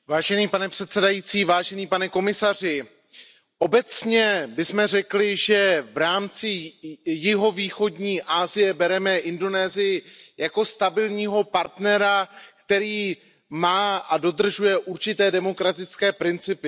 Pane předsedající, pane komisaři, obecně bychom řekli, že v rámci jihovýchodní Asie bereme Indonésii jako stabilního partnera, který má a dodržuje určité demokratické principy.